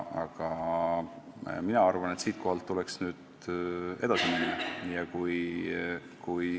Aga mina arvan, et nüüd tuleks edasi minna.